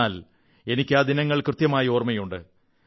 എന്നാൽ എനിക്ക് ആ ദിനങ്ങൾ കൃത്യമായി ഓർമ്മയുണ്ട്